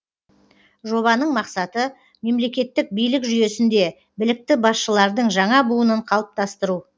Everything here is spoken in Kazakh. жобаның мақсаты мемлекеттік билік жүйесінде білікті басшылардың жаңа буынын қалыптастыру